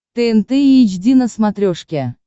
тнт эйч ди на смотрешке